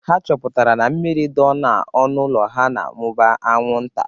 Ha chọpụtara na mmiri dọ n'ihu ụlọ ha na-amụba anwụnta.